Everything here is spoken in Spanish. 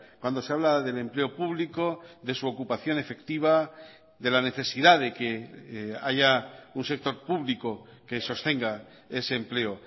cuando se habla del empleo público de su ocupación efectiva de la necesidad de que haya un sector público que sostenga ese empleo